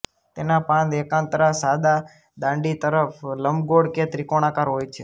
તેના પાન એકાંતરા સાદા દાંડી તરફ લંબગોળ કે ત્રિકોણાકાર હોય છે